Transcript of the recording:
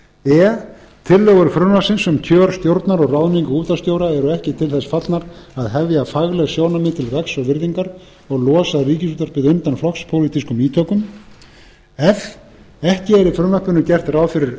e tillögur frumvarpsins um kjör stjórnar og ráðningu útvarpsstjóra eru ekki til þess fallnar að hefja fagleg sjónarmið til vegs og virðingar og losa ríkisútvarpið undan flokkspólitískum ítökum f ekki er í frumvarpinu gert ráð fyrir